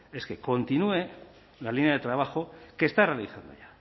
es que continúe la línea de trabajo que está realizando ya